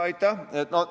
Aitäh!